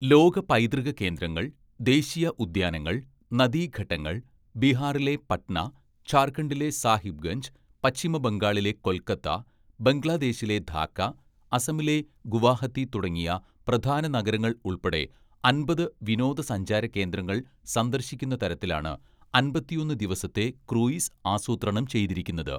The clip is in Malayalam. ലോക പൈതൃക കേന്ദ്രങ്ങൾ, ദേശീയ ഉദ്യാനങ്ങൾ, നദീഘട്ടങ്ങൾ, ബീഹാറിലെ പട്ന, ജാർഖണ്ഡിലെ സാഹിബ്ഗഞ്ച്, പശ്ചിമ ബംഗാളിലെ കൊൽക്കത്ത, ബംഗ്ലാദേശിലെ ധാക്ക, അസമിലെ ഗുവാഹത്തി തുടങ്ങിയ പ്രധാന നഗരങ്ങൾ ഉൾപ്പെടെ അമ്പത്‌ വിനോദസഞ്ചാര കേന്ദ്രങ്ങൾ സന്ദർശിക്കുന്ന തരത്തിലാണ് അമ്പത്തിയൊന്ന്‌ ദിവസത്തെ ക്രൂയിസ് ആസൂത്രണം ചെയ്തിരിക്കുന്നത്.